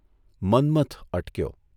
Manmath અટક્યો.